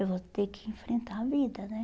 Eu vou ter que enfrentar a vida, né?